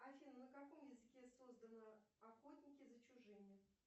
афина на каком языке создано охотники за чужими